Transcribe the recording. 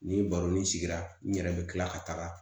Ni baro ni sigira n yɛrɛ bɛ tila ka taga